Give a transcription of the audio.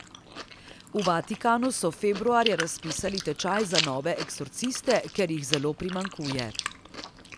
V Vatikanu so februarja razpisali tečaj za nove eksorciste, ker jih zelo primanjkuje.